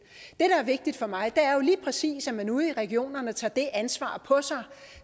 er vigtigt for mig er jo lige præcis at man ude i regionerne tager det ansvar på sig